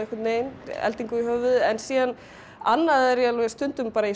eldingu í höfuðið en síðan annað er ég stundum